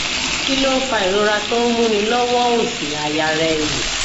kí ló ń fa ìrora tó ń múni lọwọ òs aya reì